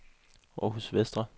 Århus Vestre